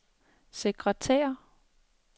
sekretær